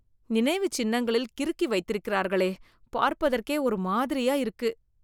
நினைவு சின்னங்களில் கிறுக்கி வைத்திருக்கிறார்களே , பார்ப்பதற்கே ஒரு மாதிரியா இருக்கு